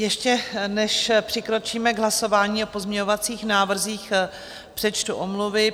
Ještě, než přikročíme k hlasování o pozměňovacích návrzích, přečtu omluvy.